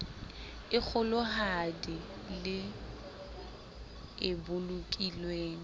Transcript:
e kgolohadi le e bolokilweng